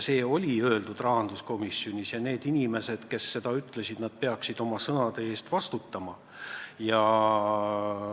Seda öeldi rahanduskomisjonis ja need inimesed, kes seda ütlesid, nad peaksid oma sõnade eest vastutama.